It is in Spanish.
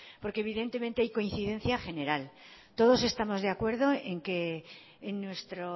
porque evidentemente hay coincidencia general todos estamos de acuerdo en que en nuestro